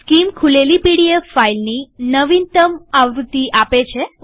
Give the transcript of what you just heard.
scheme ખુલેલી PDF ફાઈલની નવિનતમ આવૃત્તિ પ્રદર્શિત છે